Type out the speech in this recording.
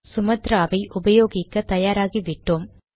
Sumatra வை உபயோகிக்க தயார் ஆகி விட்டோம்